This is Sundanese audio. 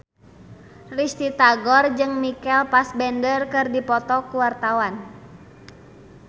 Risty Tagor jeung Michael Fassbender keur dipoto ku wartawan